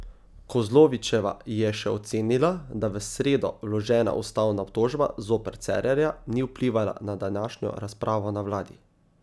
Kozlovičeva je še ocenila, da v sredo vložena ustavna obtožba zoper Cerarja ni vplivala na današnjo razpravo na vladi.